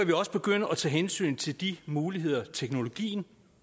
vi også begynde at tage hensyn til de muligheder teknologien